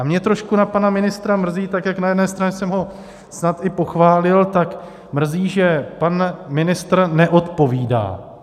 A mě trošku na pana ministra mrzí, tak jak na jedné straně jsem ho snad i pochválil, tak mrzí, že pan ministr neodpovídá.